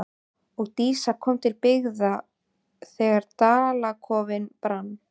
Og Dísa kom til byggða þegar Dalakofinn brann.